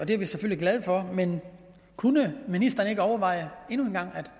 det er vi selvfølgelig glade for men kunne ministeren ikke overveje endnu en gang at